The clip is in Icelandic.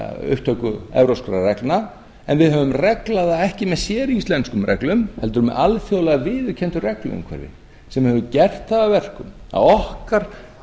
upptöku evrópskra reglna en við höfum reglna það ekki með séríslenskum reglum heldur með alþjóðlega viðurkenndu regluumhverfi sem hefur gert það að verkum að okkar